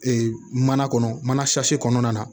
Ee mana kɔnɔ mana kɔnɔna na